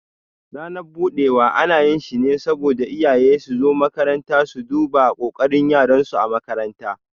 Ranan budewa ana yi shi ne saboda iyaye suzo makaranta su duba kokarin yaran su ã makaranta.